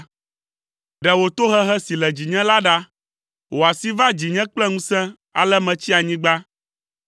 Ɖe wò tohehe si le dzinye la ɖa; wò asi va dzinye kple ŋusẽ ale metsi anyigba.